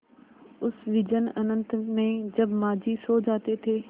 उस विजन अनंत में जब माँझी सो जाते थे